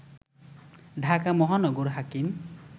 ঢাকা মহানগর হাকিম